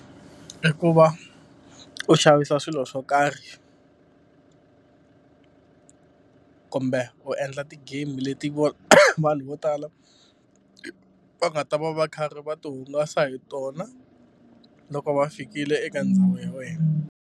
I ku va u xavisa swilo swo karhi kumbe u endla ti-game leti vo vanhu vo tala va nga ta va va karhi va tihungasa hi tona loko va fikile eka ndhawu ya wena.